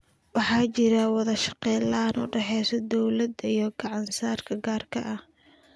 Waxa jirta wada shaqayn la�aan u dhaxaysa dawladda iyo ganacsiga gaarka ah.